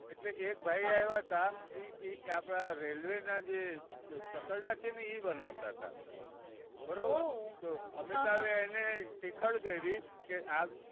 એટલે એક ભાઈ આવ્યા હતા. એ એ આપણાં railway ના જે ચકરડા છે ને એ બનાવતા હતા. બરોબર તો અમિતાભ એ એને ટીખળ કરી કે આ